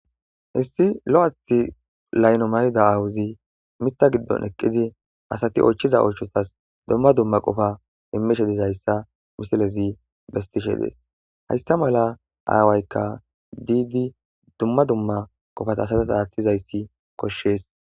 Hissi lo7athi layno mayida aawuzi mitha giddon eqqidi asati oychiza oychotas dumma dumma qofa imishe dizayssa musilezi bestishe dees haysta mala aawaykka diigi dumma dumma qofata satas aaththizayssi koshshees